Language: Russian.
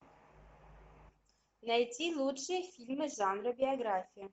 найти лучшие фильмы жанра биография